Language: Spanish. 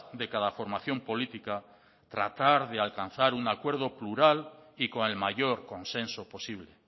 de cada formación política tratar de alcanzar un acuerdo plural y con el mayor consenso posible